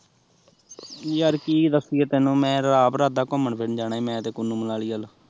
ਯਰ ਕੀ ਦੱਸੀਏ ਤੈਨੂ ਮੈਂ ਤਾਂ ਆਪ ਇਰਾਦਾ ਘੁਮਣ ਫਿਰਨ ਜਣਾ ਈ ਮੈਂ ਤੇ ਕੁੱਲੂ ਮਨਾਲੀ ਵੱਲ